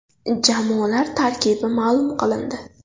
Jamoalar tarkibi ma’lum qilindi.